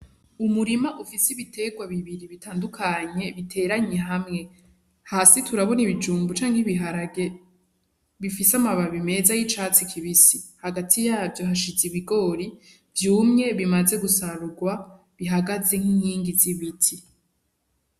Umurima ufise ibiterwa bibiri bitandukanye biteranye hamwe. Hasi turabona ibijumbu canke ibiharage bifise amababi meza y'icatsi kibisi. Hagati yavyo hashize ibigori vyumye bimaze gusarurwa bihagaze nk'inkingi z'ibiti.